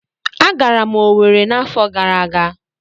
Agara m Owerri n'afọ gara aga.